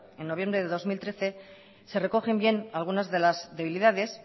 en noviembre del dos mil trece se recogen bien algunas de las debilidades